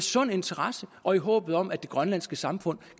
sund interesse og i håbet om at det grønlandske samfund